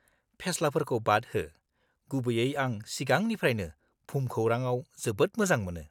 -फेस्लाफोरखौ बाद हो, गुबैयै आं सिगांनिफ्रायनो भुमखौरांआव जोबोद मोजां मोनो।